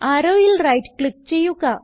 Arrowയിൽ right click ചെയ്യുക